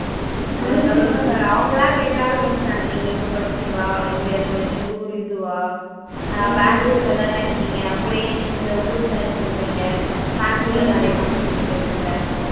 அதுக்கு அப்பறம் இந்த அவங்களா கேக்க ஆரம்பிச்சுட்டாங்க நீங்க இங்க படிச்சிங்களா இங்க இருந்து உங்க ஊரு இதுவா அஹ் பெங்களூருல தானே இருக்கீங்க அப்பற்ம் ஏன் இந்த ஊர் select பண்ணுறிங்க பெங்களூருல நிறைய companies இருக்குல்ல